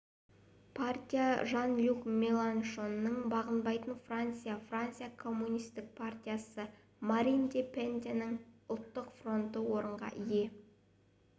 партия жан-люк меланшонның бағынбайтын франция франция коммунистік партиясы марин ле пеннің ұлттық фронты орынға ие